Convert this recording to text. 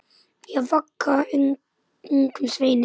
Ég vagga ungum sveini.